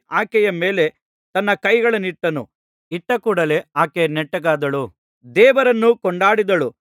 ಆಕೆಯ ಮೇಲೆ ತನ್ನ ಕೈಗಳನ್ನಿಟ್ಟನು ಇಟ್ಟಕೂಡಲೆ ಆಕೆ ನೆಟ್ಟಗಾದಳು ದೇವರನ್ನು ಕೊಂಡಾಡಿದಳು